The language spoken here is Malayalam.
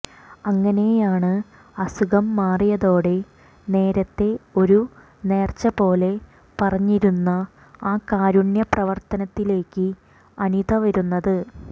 അങ്ങനെയാണ് അസുഖം മാറിയതോടെ നേരത്തെ ഒരു നേര്ച്ച പോലെ പറഞ്ഞിരുന്ന ആ കാരുണ്യപ്രവര്ത്തിയിലേക്ക് അനിത വരുന്നത്